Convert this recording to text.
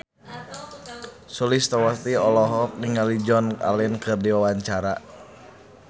Sulistyowati olohok ningali Joan Allen keur diwawancara